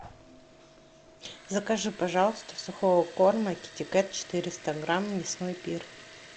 закажи пожалуйста сухого корма китекет четыреста грамм мясной пир